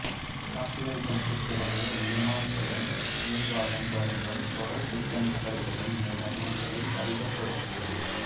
தாக்குதல்களுக்குப் பிறகு லேமன்ஸின் நிர்வாகம் வணிகம் தொடர் திட்டமிடல்களின் மூலம் ஆற்றலை அதிகப்படுத்தியது